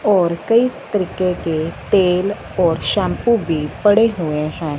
और कई इस तरीके के तेल और शैंपू भी पड़े हुए हैं।